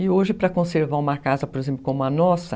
E hoje, para conservar uma casa, por exemplo, como a nossa...